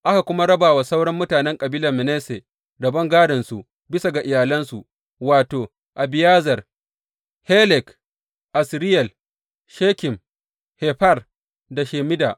Aka kuma raba wa sauran mutanen kabilar Manasse rabon gādonsu bisa ga iyalansu, wato, Abiyezer, Helek, Asriyel, Shekem, Hefer da Shemida.